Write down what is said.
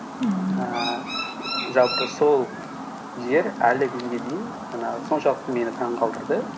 мхм ііі жалпы сол жер әлі күнге дейін жаңағы соншалықты мені таңғалдырды